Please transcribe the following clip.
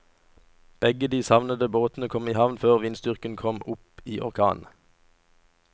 Begge de savnede båtene kom i havn før vindstyrken kom opp i orkan.